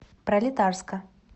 пролетарска